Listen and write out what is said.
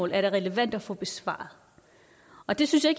det relevant at få besvaret og det synes jeg